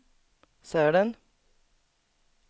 Sälen